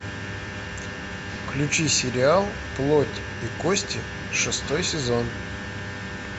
включи сериал плоть и кости шестой сезон